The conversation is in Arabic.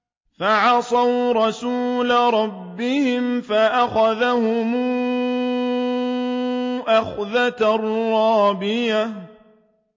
فَعَصَوْا رَسُولَ رَبِّهِمْ فَأَخَذَهُمْ أَخْذَةً رَّابِيَةً